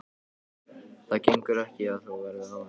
Það gengur ekki að þú verðir af henni.